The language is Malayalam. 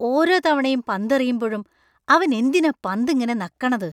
ഓരോ തവണ പന്തെറിയുമ്പഴും അവൻ എന്തിനാ പന്ത് ഇങ്ങനെ നക്കണത്?